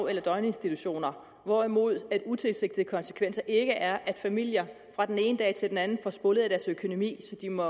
eller døgninstitutioner hvorimod en utilsigtet konsekvens ikke er at familier fra den ene dag til den anden får spoleret deres økonomi så de må